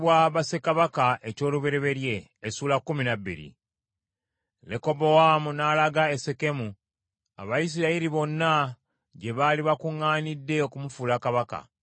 Lekobowaamu n’alaga e Sekemu, Abayisirayiri bonna gye baali bakuŋŋaanidde okumufuula kabaka.